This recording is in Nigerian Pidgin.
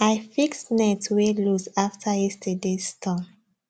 i fix net wey loose after yesterdays storm